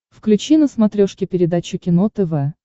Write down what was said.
включи на смотрешке передачу кино тв